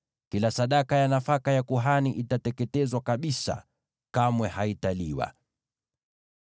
Kila sadaka ya nafaka ya kuhani itateketezwa kabisa; kamwe haitaliwa.”